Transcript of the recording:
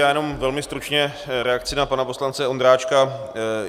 Já jenom velmi stručně reakci na pana poslance Ondráčka.